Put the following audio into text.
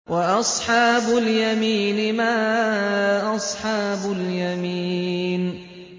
وَأَصْحَابُ الْيَمِينِ مَا أَصْحَابُ الْيَمِينِ